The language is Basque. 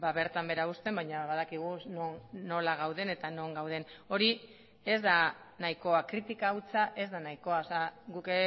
bertan behera uzten baina badakigu nola gauden eta non gauden hori ez da nahikoa kritika hutsa ez da nahikoa guk